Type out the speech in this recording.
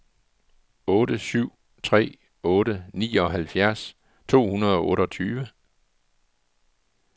otte syv tre otte nioghalvfjerds to hundrede og otteogtyve